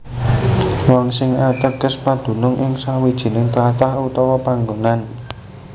Wong sing ateges padunung ing sawijining tlatah utawa panggonan